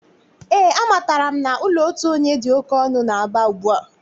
Ee, amatara m na ụlọ otu onye dị oké ọnụ n'Aba ugbua.